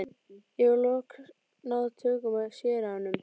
Ég hef loks náð tökum á séranum.